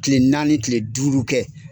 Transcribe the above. Tile naani tile duuru kɛ.